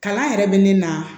Kalan yɛrɛ bɛ ne na